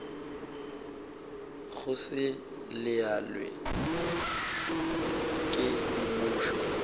go se laolwe ke mmušo